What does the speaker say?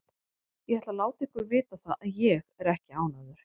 Ég ætla að láta ykkur vita það að ÉG er ekki ánægður.